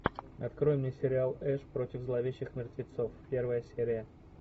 открой мне сериал эш против зловещих мертвецов первая серия